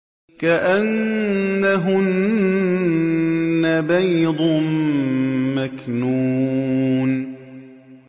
كَأَنَّهُنَّ بَيْضٌ مَّكْنُونٌ